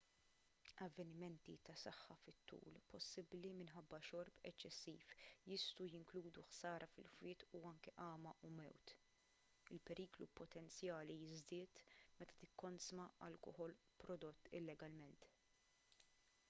avvenimenti tas-saħħa fit-tul possibbli minħabba xorb eċċessiv jistgħu jinkludu ħsara fil-fwied u anke għama u mewt il-periklu potenzjali jiżdied meta tikkonsma alkoħol prodott illegalment